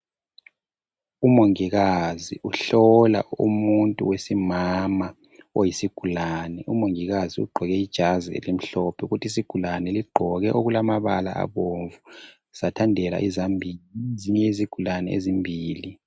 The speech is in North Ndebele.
Umongikazi uhlola umuntu wesimama oyisigulane umongikazi ugqoke ijazi elimhlophe kuthi isigulane sigqoke okulamabala abomvu sathandela izambiya ezinye izigulane ezimbili.